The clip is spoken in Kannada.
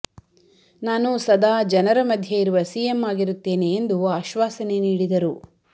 ನಾನು ಸದಾ ಜನರ ಮಧ್ಯೆ ಇರುವ ಸಿಎಂ ಆಗಿರುತ್ತೇನೆ ಎಂದು ಆಶ್ವಾಸನೆ ನೀಡಿದರು